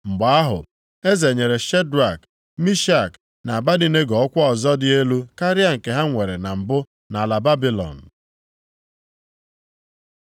Mgbe ahụ, eze nyere Shedrak, Mishak na Abednego ọkwa ọzọ dị elu karịa nke ha nwere na mbụ nʼala Babilọn.